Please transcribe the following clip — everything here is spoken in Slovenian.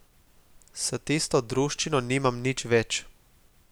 S tisto druščino nimam nič več.